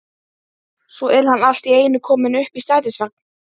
Svo er hann allt í einu kominn upp í strætisvagn.